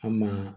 An maa